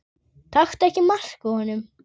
Taktu ekki mark á honum.